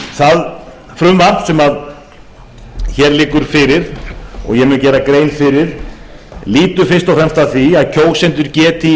það frumvarp sem hér liggur fyrir lýtur fyrst og fremst að því að kjósendur geti í